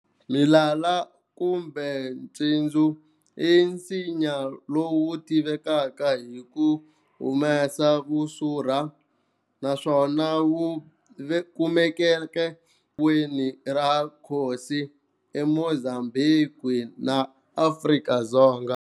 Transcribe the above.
Milala kumbe Ncindzu i nsinya lowu tiviwaka hi ku humesa Vusurha naswona wu kumekaka weni ra Kosi eMozambhiki na Afrika-Dzonga.